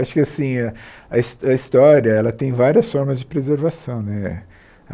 Acho que assim a his a história ela tem várias formas de preservação né.